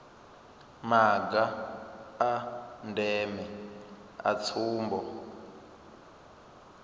maga a ndeme a tsumbo